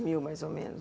dois mil, mais ou menos.